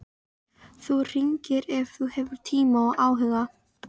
Þú hringir ef þú hefur tíma og áhuga.